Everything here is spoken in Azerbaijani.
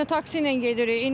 Heç nə, taksi ilə gedirik.